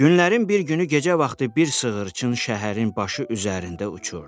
Günlərin bir günü gecə vaxtı bir sığırçın şəhərin başı üzərində uçurdu.